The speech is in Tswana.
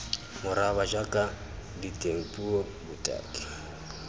moraba jaaka diteng puo botaki